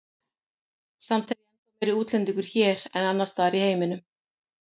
Samt er ég ennþá meiri útlendingur hér en annars staðar í heiminum.